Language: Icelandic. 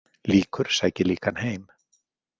Líkur sækir líkan heim.